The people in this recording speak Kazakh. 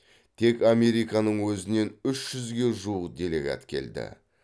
тек американың өзінен үш жүзге жуық делегат келді